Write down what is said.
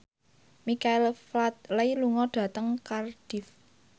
Michael Flatley lunga dhateng Cardiff